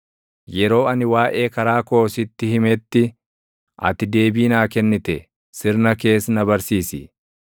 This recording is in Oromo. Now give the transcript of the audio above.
Yeroo ani waaʼee karaa koo sitti himetti, ati deebii naa kennite; sirna kees na barsiisi.